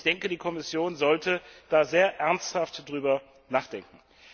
Ich denke, die Kommission sollte da sehr ernsthaft darüber nachdenken.